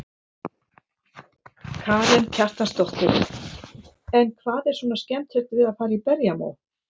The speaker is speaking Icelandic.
Karen Kjartansdóttir: En hvað er svona skemmtilegt við að fara í berjamó?